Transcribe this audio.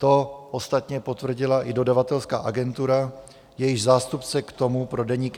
To ostatně potvrdila i dodavatelská agentura, jejíž zástupce k tomu pro Deník